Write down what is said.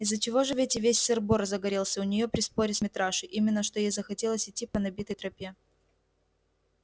из-за чего же ведь и весь сыр-бор загорелся у нее при споре с митрашей именно что ей захотелось идти по набитой тропе